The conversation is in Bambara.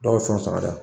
Dɔw bɛ fɛn sara